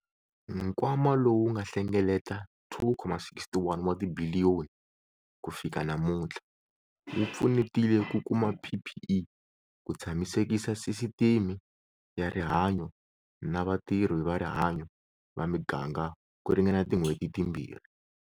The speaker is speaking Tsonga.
Nkwama lowu nga hlengeleta R2,61 wa tibiliyoni ku fika namutlha, wu pfunetile ku kuma PPE ku tshamisekisa sisiteme ya rihanyo na vatirhi va rihanyo va miganga ku ringana tin'hweti timbirhi.